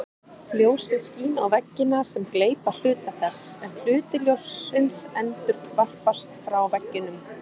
Ljósið skín á veggina sem gleypa hluta þess en hluti ljóssins endurvarpast frá veggjunum.